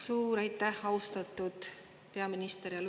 Suur aitäh, austatud peaminister!